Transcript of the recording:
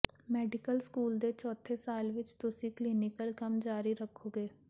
medical school ਦੇ ਚੌਥੇ ਸਾਲ ਵਿੱਚ ਤੁਸੀਂ ਕਲੀਨਿਕਲ ਕੰਮ ਜਾਰੀ ਰਖੋਗੇ